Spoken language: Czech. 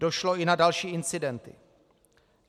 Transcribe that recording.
Došlo i na další incidenty.